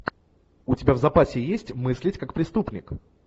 у тебя в запасе есть мыслить как преступник